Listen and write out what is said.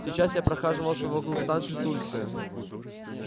сейчас я прохаживался вокруг станции тульская